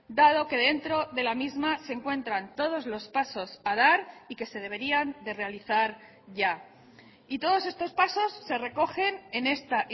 dado que dentro de la misma se encuentran todos los pasos a dar y que se deberían de realizar ya y todos estos pasos se recogen en esta